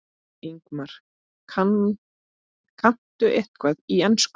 Ingimar: Kanntu eitthvað í ensku?